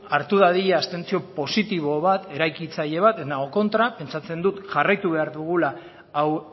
hartu dadila abstentzio positibo bat eraikitzaile bat ez nago kontra pentsatzen dut jarraitu behar dugula hau